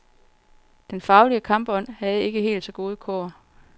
Den faglige kampånd havde ikke helt så gode kår.